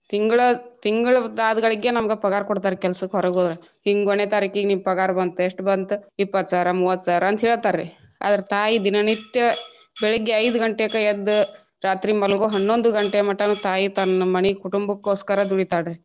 ತಿಂಗ್ಳ~ ತಿಂಗಳದ ಆದ ಗಳಿಗೆ ನಮಗ ಪಗಾರ ಕೊಡ್ತಾರಿ ಕೆಲಸಕ್ಕ ಹೊರಗ ಹೋದ್ರ ಹಿಂಗ ಒಂದನೇ ತಾರಿಕ್ ಗೆ ನಿಮ್ಗೆ ಪಗಾರ ಬಂತ ಎಷ್ಟ ಬಂತ ಇಪ್ಪತ್ತ ಸಾವಿರಾ ಮೂವತ್ತ ಸಾವಿರಾಂತ ಹೇಳ್ತಾರಿ ಅದ್ರ ತಾಯಿ ದಿನನಿತ್ಯ ಬೆಳಿಗ್ಗೆ ಐದ ಗಂಟೆಗಕ ಎದ್ದ ರಾತ್ರಿ ಮಲಗು ಹನ್ನೊಂದು ಗಂಟೆ ಮಠನು ತಾಯಿ ತನ್ನ ಮನಿ ಕುಟುಂಬಕ್ಕೋಸ್ಕರ ದುಡಿತಾಳ ರೀ.